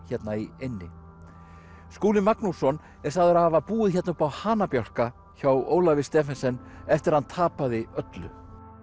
hérna í eynni Skúli Magnússon er sagður hafa búið hérna uppi á hjá Ólafi Stephensen eftir að hann tapaði öllu